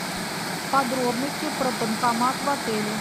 подробности про банкомат в отеле